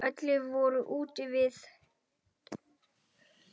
Allir voru úti við.